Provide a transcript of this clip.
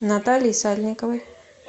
натальи сальниковой